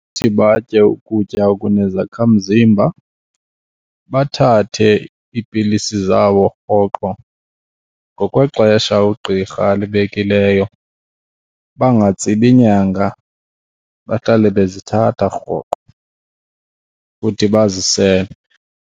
batye ukutya okunezakhamzimba, bathathe iipilisi zabo rhoqo ngokwexesha ugqirha alibekileyo. Bangatsibi nyanga, bahlale bezithatha rhoqo futhi bazisele.